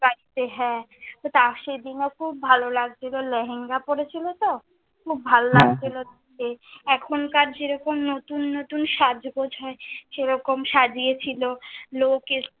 গাড়িতে হ্যাঁ, তা সেই দিনে খুব ভালো লাগছিলো, লেহেঙ্গা পরে ছিলো তো, খুব ভালো লাগছিলো। এখনকার যেমন নতুন নতুন সাজগোঁজ হয়, সেই রকম সাজিয়ে ছিলো, লোক এসেছিলো